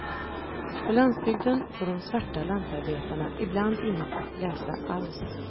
På landsbygden får de svarta lantarbetarna ibland inget läsa alls.